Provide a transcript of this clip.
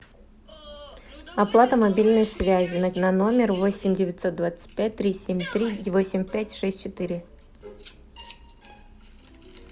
оплата мобильной связи на номер восемь девятьсот двадцать пять три семь три восемь пять шесть четыре